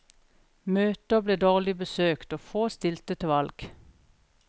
Møter ble dårlig besøkt, og få stilte til valg.